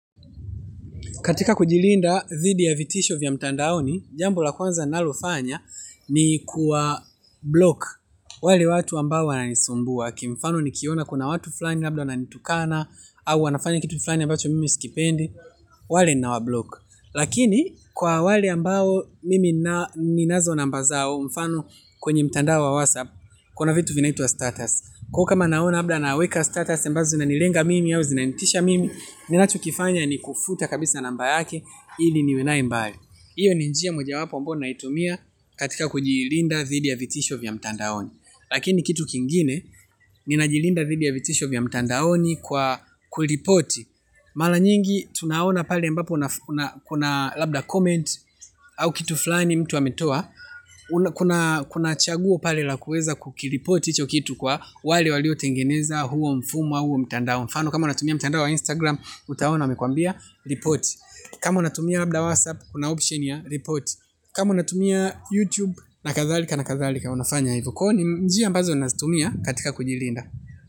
Katika kujilinda dhidi ya vitisho vya mtandaoni, jambo la kwanza nalo fanya ni kuwa block wale watu ambao wananisumbua. Kimfano nikiona kuna watu flani labda wananitukana, au wanafanya kitu flani ambacho mimi sikipendi, wale ninawa block. Lakini kwa wale ambao mimi ninazo namba zao mfano kwenye mtandao wa whatsapp, kuna vitu vinaitwa status. Kama naona labda ana weka status, ambazo zinanilenga mimi ao zinanitisha mimi, ninachokifanya ni kufuta kabisa namba yake, ili niwenae mbali. Hiyo ni njia moja wapo ambayo naitumia katika kujilinda dhidi ya vitisho vya mtandaoni. Lakini kitu kingine, ninajilinda dhidi ya vitisho vya mtandaoni kwa kuripoti. Mala nyingi, tunaona pale mbapo kuna labda comment, au kitu flani mtu ametoa. Kuna chaguo pale la kueza kukiripoti hicho kitu kwa wale walio tengeneza huo mfumu au huo mtandao mfano kama unatumia mtandao wa instagram utaona wamekwambia ripoti. Kama unatumia labda whatsapp kuna option ya ripoti, kama unatumia youtube na kadhalika na kadhalika unafanya hivo. Kwani ni njia ambazo nazitumia katika kujilinda.